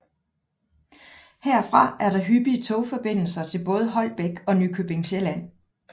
Herfra er der hyppige togforbindelser til både Holbæk og Nykøbing Sjælland